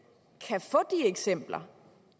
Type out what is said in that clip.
eksempler